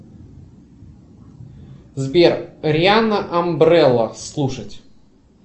сбер рианна амбрелла слушать